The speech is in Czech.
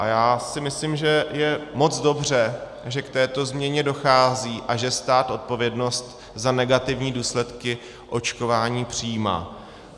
A já si myslím, že je moc dobře, že k této změně dochází a že stát odpovědnost za negativní důsledky očkování přijímá.